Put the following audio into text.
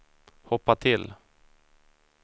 hoppa till